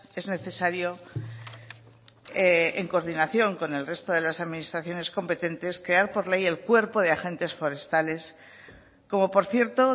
es necesario en coordinación con el resto de las administraciones competentes crear por ley el cuerpo de agentes forestales como por cierto